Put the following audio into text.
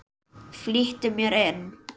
Flýtti mér inn.